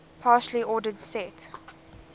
partially ordered set